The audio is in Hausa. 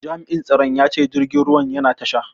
Jami'in tsaron ya ce jirgin ruwan yana tasha.